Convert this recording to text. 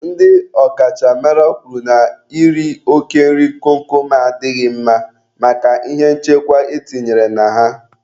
Ndị ọ kachamara kwuru na iri oke nri kom kom a adịghị mma maka ihe nchekwa e tinyere na ha.